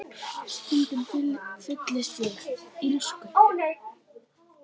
En stundum fyllist ég illsku.